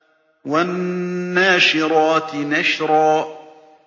وَالنَّاشِرَاتِ نَشْرًا